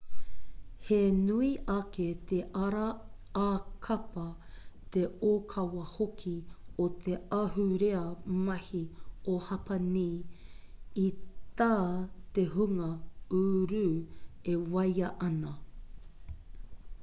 he nui ake te ara ā-kapa te ōkawa hoki o te ahurea mahi o hapani i tā te hunga uru e waia ana